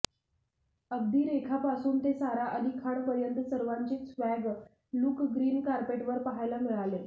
अगदी रेखा पासून ते सारा अली खान पर्यंत सर्वांचेच स्वॅग लुक ग्रीन कार्पेटवर पाहायला मिळाले